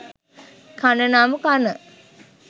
කන නම් කන